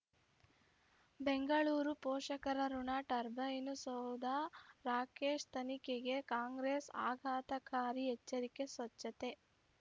ಬೆಂಗಳೂರು ಪೋಷಕರಋಣ ಟರ್ಬೈನು ಸೌಧ ರಾಕೇಶ್ ತನಿಖೆಗೆ ಕಾಂಗ್ರೆಸ್ ಆಘಾತಕಾರಿ ಎಚ್ಚರಿಕೆ ಸ್ವಚ್ಛತೆ